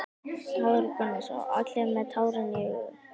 Hafþór Gunnarsson: Allir með tárin í augunum?